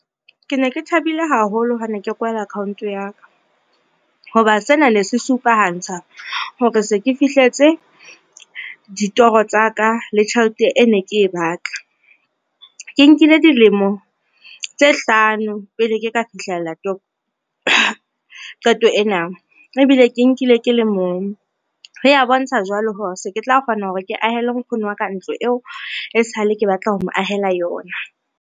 Ke ne ke thabile haholo ha ne ke kwala account ya ka, ho ba sena ne se supahantsha hore se ke fihletse ditoro tsa ka le tjhelete e ne ke batla. Ke nkile dilemo tse hlano pele ke ka fihlela qeto ena ebile ke nkile ke le mong, ho ya bontsha jwale hore se ke tla kgona hore ke ahele nkgono wa ka ntlo eo e sale ke batla ho mo ahela yona.